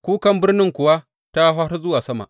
Kukan birnin kuwa ta hau har zuwa sama.